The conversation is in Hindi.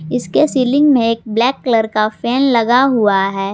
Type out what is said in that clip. इसके सीलिंग में एक ब्लैक कलर का फैन लगा हुआ है।